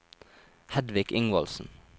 Hedvig Ingvaldsen